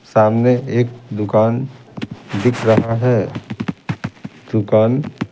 सामने एक दुकान दिख रहा है दुकान--